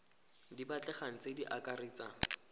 di batlegang tse di akaretsang